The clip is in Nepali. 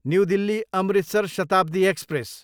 new Delhi, Amritsar Shatabdi express